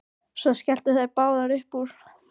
Svo skelltu þær báðar upp úr.